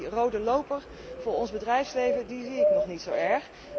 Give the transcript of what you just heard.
die rode loper voor ons bedrijfsleven, die zie ik nog niet zo erg.